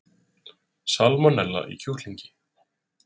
Salmonella í kjúklingi